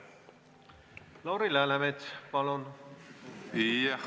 Lauri Läänemets, palun!